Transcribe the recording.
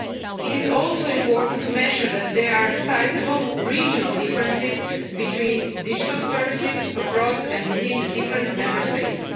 It is also important to mention that there are sizeable regional differences between digital services across and between the different Member States.